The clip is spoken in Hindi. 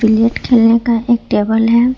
नेट खेलने का एक टेबल है।